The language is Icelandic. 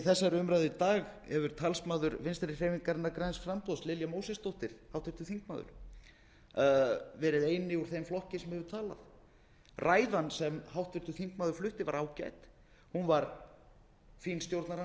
í þessari umræðu í dag hefur talsmaður vinstri hreyfingarinnar græns framboðs háttvirtir þingmenn lilja mósesdóttir verið sá eini úr þeim flokki sem hefur talað ræðan sem háttvirtur þingmaður flutti var ágæt hún var fín